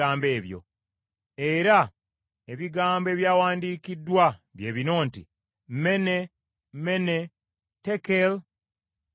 “Era ebigambo ebyawandiikiddwa bye bino nti: mene, mene, tekel, ufarsin.